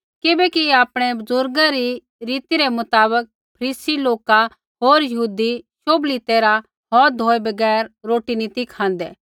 किबैकि आपणै बुज़ुर्ग री रीति रै मुताबक फरीसी लोका होर यहूदी शोभली तैरहा हौथ धोऐ बगैर रोटी नी ती खाँदै